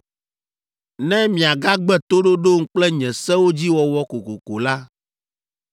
“Ne miagagbe toɖoɖom kple nye sewo dzi wɔwɔ kokoko la,